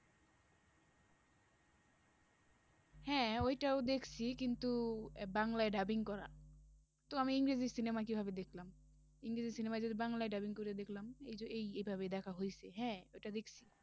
হ্যাঁ ওইটাও দেখছি কিন্তু আহ বাংলায় dubbing করা তো আমি ইংরেজি cinema কিভাবে দেখলাম? ইংরেজি cinema যদি বাংলায় dubbing করে দেখলাম এই যে এইভাবে দেখা হয়েছে হ্যাঁ, ওটা দেখছি